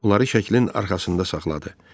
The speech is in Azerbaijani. Onları şəkilin arxasında saxladı.